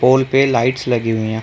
पोल पे लाइट्स लगी हुई है।